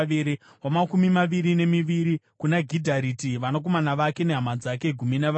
wamakumi maviri nemitatu kuna Mahazioti, vanakomana vake nehama dzake—gumi navaviri;